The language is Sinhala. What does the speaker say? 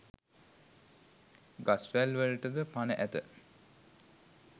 ගස්වැල් වලටද පණ ඇත.